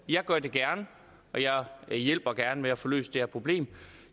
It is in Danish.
jeg gør det gerne og jeg hjælper gerne med at få løst det her problem